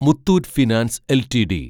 Muthoot finance LTD